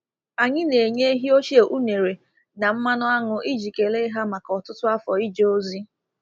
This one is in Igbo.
Anyị na-enye ehi ochie unere na mmanụ aṅụ iji kelee ha maka ọtụtụ afọ ije ozi.